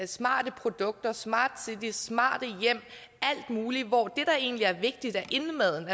smarte produkter smart cities smarte hjem alt muligt hvor det der egentlig er vigtigt er indmaden